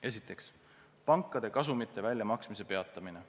Esiteks, pankade kasumite väljamaksmise peatamine.